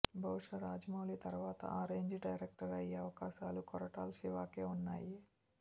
బహుశా రాజమౌళి తరువాత ఆ రేంజ్ డైరక్టర్ అయ్యే అవకాశాలు కొరటాల శివకే వున్నాయి